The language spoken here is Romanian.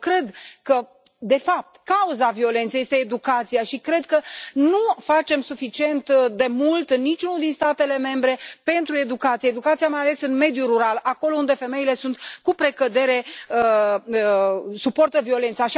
Eu cred că, de fapt, cauza violenței este educația și cred că nu facem suficient de mult, nici unul din statele membre, pentru educație, educația mai ales în mediul rural, acolo unde femeile, cu precădere, suportă violența.